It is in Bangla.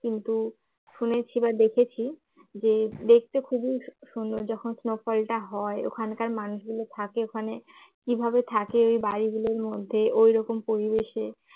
কিন্তু শুনেছি বা দেখেছি যে দেখতে খুবই সুন্দর যখন snow fall টা হয় ওখানকার মানুষগুলো থাকে ওখানে কিভাবে থাকে ওই বাড়ি গুলোর মধ্যে ওই রকম পরিবেশে